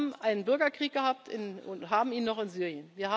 Also wir haben einen Bürgerkrieg gehabt und haben ihn noch in